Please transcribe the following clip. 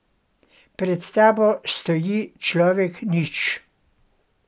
Pred tabo stoji človek nič.